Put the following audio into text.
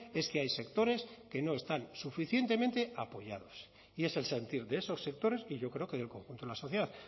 es que hay sectores que no están suficientemente apoyados y es el sentir de esos sectores y yo creo que del conjunto de la sociedad